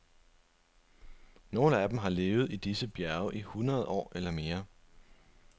Nogle af dem har levet i disse bjerge i hundrede år eller mere.